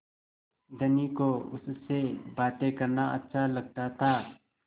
धनी को उससे बातें करना अच्छा लगता था